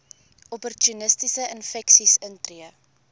opportunistiese infeksies intree